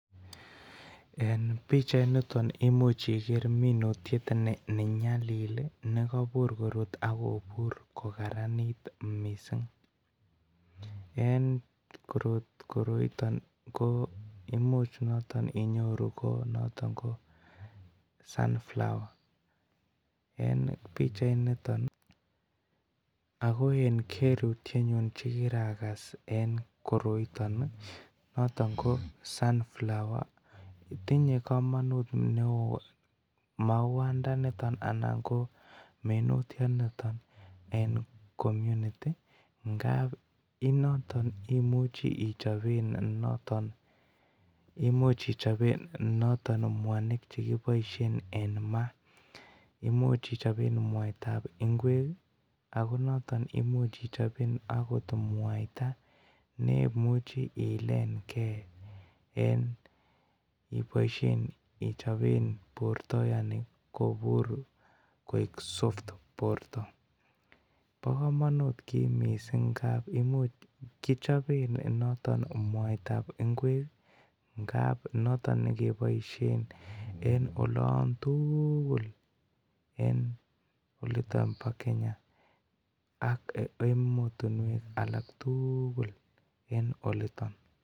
En bichait niton imuche Iger minutiet nenyalil nekabur korut akobur kokaranit mising en koroiton ko imuch noton inyoru kobnoton kon sun flower ako en kerutinyu agere akokiragas ko noton ko sun flower tinye kamanut neon mauwat niton anan minutiat niton en community enoton imuche ichopen mwanik chekibaishen en matimuche ibaishen mwaita ab ingwek akonoton imuche ichopen mwaita nemuche ilengei akokibaishe en borta kobur Koi soft (borta ba kamanut ki mising